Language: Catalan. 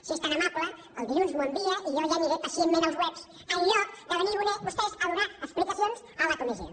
si és tan amable el dilluns m’ho envia i jo ja aniré pacientment als webs en lloc de venir vostès a donar explicacions a la comissió